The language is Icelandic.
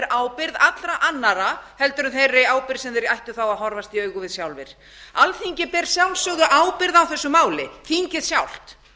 ábyrgð allra annarra en þeirri ábyrgð sem þeir ættu þá að horfast í augu við sjálfir alþingi ber að sjálfsögðu ábyrgð á þessu máli þingið sjálft